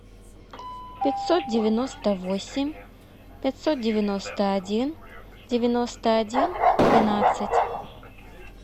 пятьсот девяносто восемь пятьсот девяносто один девяносто один двенадцать